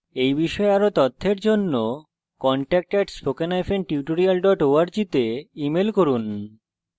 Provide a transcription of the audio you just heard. এই বিষয়ে বিস্তারিত তথ্যের জন্য contact @spokentutorial org তে ইমেল করুন